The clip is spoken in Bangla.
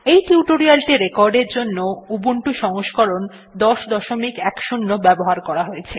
এই টিউটোরিয়ালটি রেকর্ডের জন্য উবুন্টু সংস্করণ ১০১০ ব্যবহার করা হয়েছে